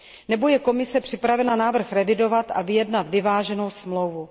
Nebo je Komise připravena návrh revidovat a vyjednat vyváženou smlouvu?